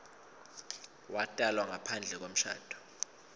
watalwa ngaphandle kwemshado